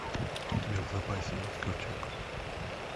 у тебя в запасе есть ковчег